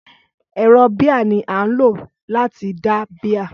Ẹ̀rọ bíà ní a ń lò láti da bíà.